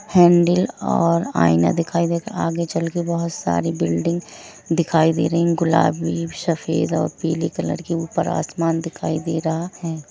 Handle और आइना दिखाई दे आगे चलके बहुत सारी बिल्डिंग दिखाई दे रही है गुलाबी सफ़ेद और पिली कलर की ऊपर आसमान दिखाई दे रहा है।